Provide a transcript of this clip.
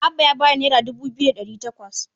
Abba ya ba ni naira dubu biyu da ɗari takwas.